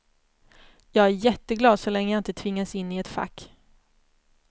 Jag är jätteglad så länge jag inte tvingas in i ett fack.